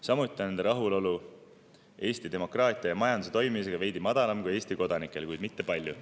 Samuti on nende rahulolu Eesti demokraatia ja majanduse toimimisega veidi madalam kui Eesti kodanikel, kuid mitte palju.